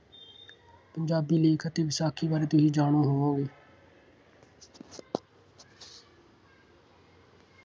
ਪੰਜਾਬੀ ਲੇਖ ਅਤੇ ਵਿਸਾਖੀ ਬਾਰੇ ਤੁਸੀਂ ਜਾਣੂੰ ਹੋਵੋਂਗੇ।